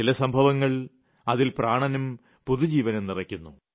ചില സംഭവങ്ങൾ അതിൽ പ്രാണനും പുതുജീവനും നിറയ്ക്കുന്നു